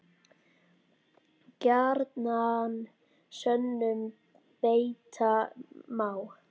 Gjarnan sönnum beita má.